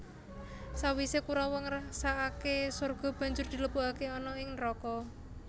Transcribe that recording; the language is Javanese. Sawise Kurawa ngrasakake sorga banjur dilebokake ana ing neraka